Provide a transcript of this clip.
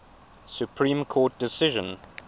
supreme court decision